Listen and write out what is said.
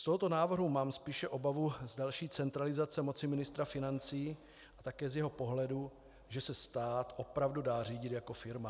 Z tohoto návrhu mám spíše obavu z další centralizace moci ministra financí a také z jeho pohledu, že se stát opravdu dá řídit jako firma.